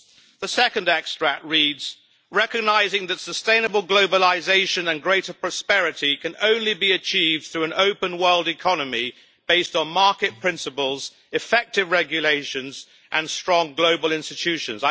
The second extract reads, Recognising that sustainable globalisation and greater prosperity can only be achieved through an open world economy based on market principles, effective regulations and strong global institutions